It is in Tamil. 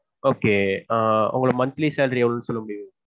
okay ஆஹ் உங்க monthly salary எவ்வளவு சொல்ல முடியுமா?